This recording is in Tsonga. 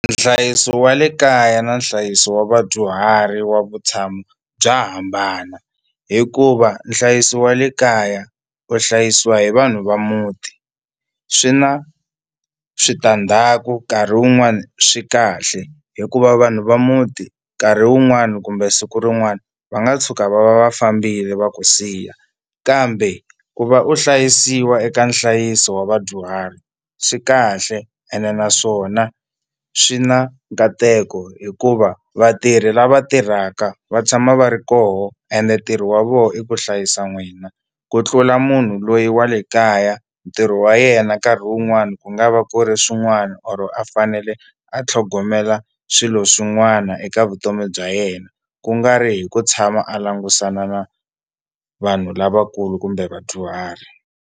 Nhlayiso wa le kaya na nhlayiso wa vadyuhari wa vutshamo bya hambana hikuva nhlayiso wa le kaya u hlayisiwa hi vanhu va muti swi na switandzhaku nkarhi wun'wani swi kahle hikuva vanhu va muti nkarhi wun'wani kumbe siku rin'wani va nga tshuka va va va fambile va ku siya kambe ku va u hlayisiwa eka nhlayiso wa vadyuhari swi kahle ene naswona swi na nkateko hikuva vatirhi lava tirhaka va tshama va ri koho ende ntirho wa vona i ku hlayisa n'wina ku tlula munhu loyi wa le kaya ntirho wa yena nkarhi wun'wani ku nga va ku ri swin'wana or a fanele a tlhogomela swilo swin'wana eka vutomi bya yena ku nga ri hi ku tshama a langutisana na vanhu lavakulu kumbe vadyuhari.